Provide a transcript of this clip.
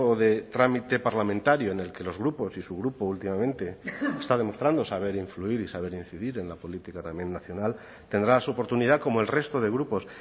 de trámite parlamentario en el que los grupos y su grupo últimamente está demostrando saber influir y saber incidir en la política también nacional tendrá su oportunidad como el resto de grupos